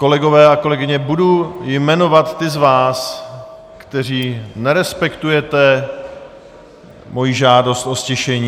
Kolegové a kolegyně, budu jmenovat ty z vás, kteří nerespektujete moji žádost o ztišení.